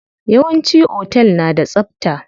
Yawanci otel na da tsabta.